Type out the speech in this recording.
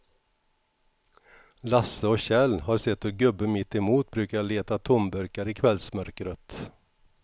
Lasse och Kjell har sett hur gubben mittemot brukar leta tomburkar i kvällsmörkret.